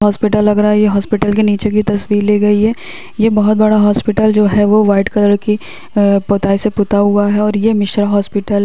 hospital लग रहा है ये हॉस्पिटल के नीचे की तस्वीर ली गई है ये बहोत बड़ा हॉस्पिटल जो है वो वाइट कलर की अ पुताई से पुता हुआ है और ये मिश्रा हॉस्पिटल --